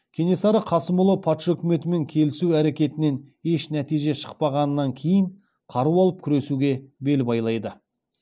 кенесары қасымұлы патша өкіметімен келісу әрекетінен еш нәтиже шықпағаннан кейін қару алып күресуге бел байлайды